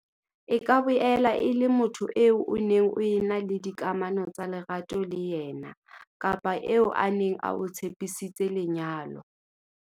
E ka boela e le motho eo o neng o ena le dikamano tsa lerato le yena kapa eo a neng a o tshepisitse lenyalo.